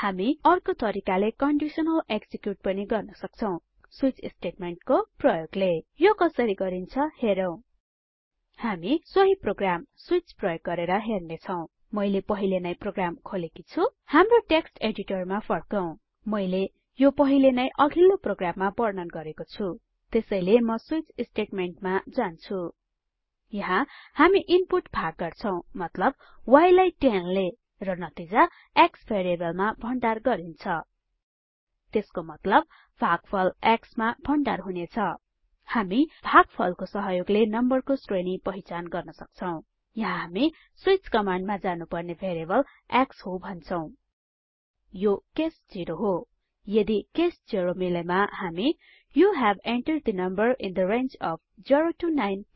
हाम्रो अर्को तरिकाले कन्डिसनल एक्जिक्युट पनि गर्न सक्छौं स्विच स्टेटमेन्ट प्रयोग ले यो कसरी गरिन्छ हेरौं हामी सोहि प्रोग्राम स्विच प्रयोग गरेर हेर्नेछौं मैले पहिले नै प्रोग्राम खोलेकी छुँ हाम्रो टेक्स्ट एडिटरमा फर्कौं मैले यो पहिले नै अघिल्लो प्रोग्राममा वर्णन गरेको छुँ त्यसैले म स्विच स्टेटमेन्ट मा जान्छु यहाँ हामी इनपुट भाग गर्छौं मतलब y लाई 10 ले र नतिजा x भेरिएबलमा भण्डार गरिन्छ त्यसको मतलब भागफल x मा भण्डार हुनेछ हामी भागफलको सहयोगले नम्बरको श्रेणी पहिचान गर्न सक्छौं यहाँ हामी स्विच कमाण्डमा जानुपर्ने भेरिएबल x हो भन्छौं यो केस 0 हो यदि केस 0 मिलेमा हामी you have entered the number in the range of 0 9